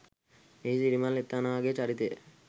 එහි සිරිමල් එතනාගේ චරිතය